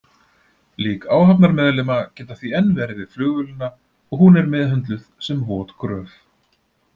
Lík áhafnarmeðlima geta því enn verið við flugvélina og hún er meðhöndluð sem vot gröf.